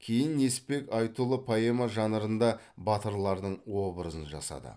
кейін несіпбек айтұлы поэма жанрында батырлардың образын жасады